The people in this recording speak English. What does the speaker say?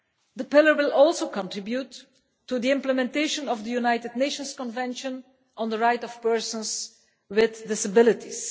The Pillar will also contribute to the implementation of the United Nations Convention on the Rights of Persons with Disabilities.